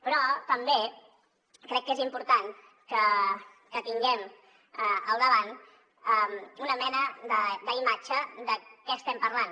però també crec que és important que tinguem al davant una mena d’imatge de què estem parlant